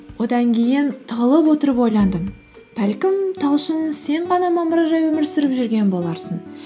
одан кейін тығылып отырып ойландым бәлкім талшын сен ғана мамыржай өмір сүріп жүрген боларсың